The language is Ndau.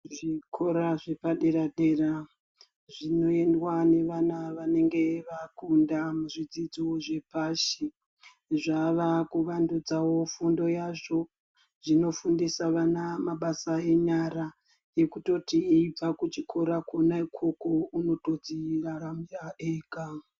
Zvikora zvepadera dera zvinoendwa nevana vanenge vakunda muzvidzidzo zvepashi zvava kuvandidzawo fundo yazvo, zvinofundisawo mabasa enyaraekutoti eibva kuchikora Kona ukoko unotodziraramira ega.